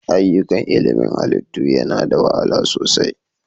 Ayyukan ilmin halitta yana da wahala sosai.